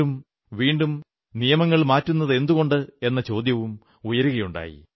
വീണ്ടും വീണ്ടും നിയമങ്ങൾ മാറ്റുന്നതെന്തുകൊണ്ടെന്ന ചോദ്യവും ഉയരുകയുണ്ടായി